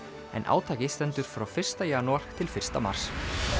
en átakið stendur frá fyrsta janúar til fyrsta mars